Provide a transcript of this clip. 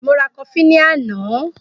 Mo ra kofí ní àná.